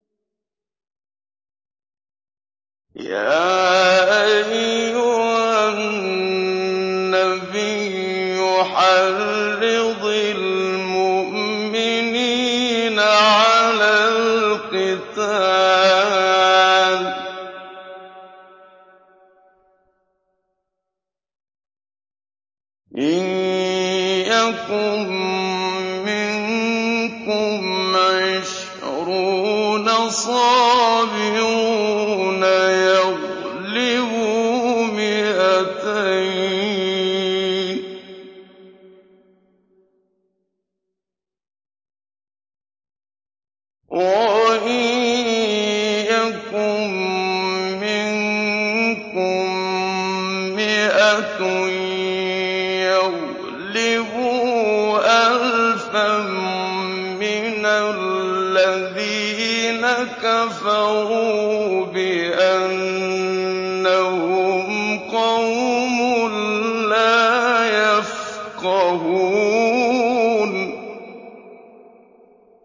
يَا أَيُّهَا النَّبِيُّ حَرِّضِ الْمُؤْمِنِينَ عَلَى الْقِتَالِ ۚ إِن يَكُن مِّنكُمْ عِشْرُونَ صَابِرُونَ يَغْلِبُوا مِائَتَيْنِ ۚ وَإِن يَكُن مِّنكُم مِّائَةٌ يَغْلِبُوا أَلْفًا مِّنَ الَّذِينَ كَفَرُوا بِأَنَّهُمْ قَوْمٌ لَّا يَفْقَهُونَ